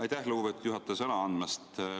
Aitäh, lugupeetud juhataja, sõna andmast!